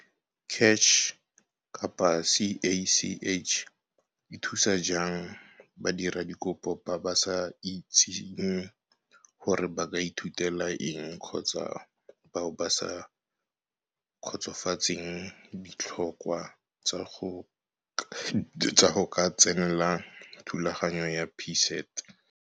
CACH e thusa jang badiradikopo ba ba sa itseng gore ba ka ithutela eng kgotsa bao ba sa kgotsofatseng ditlhokwa tsa go ka tsenela thulaganyo ya PSET?